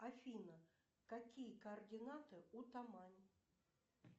афина какие координаты у тамани